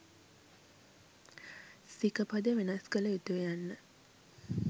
සික පද වෙනස් කළ යුතුය යන්න